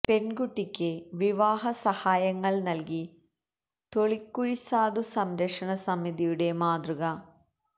പെൺകുട്ടിക്ക് വിവാഹ സഹായങ്ങൾ നൽകി തൊളിക്കുഴി സാധു സംരക്ഷണ സമിതിയുടെ മാതൃക